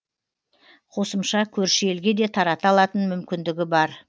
қосымша көрші елге де тарата алатын мүмкіндігі бар